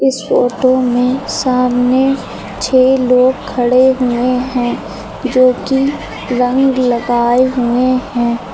इस फोटो में सामने छह लोग खड़े हुए हैं जोकि रंग लगाए हुए हैं।